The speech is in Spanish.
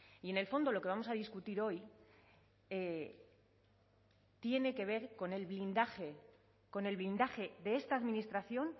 y en el fondo lo que vamos a discutir hoy tiene que ver con el blindaje con el blindaje de esta administración